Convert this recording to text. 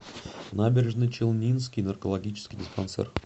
набережночелнинский наркологический диспансер